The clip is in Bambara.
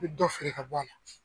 I bi dɔ feere ka bɔ a la.